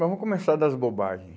Vamos começar das bobagem.